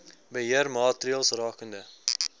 beheer maatreëls rakende